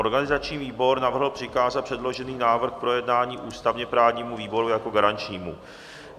Organizační výbor navrhl přikázat předložený návrh k projednání ústavně-právnímu výboru jako garančnímu.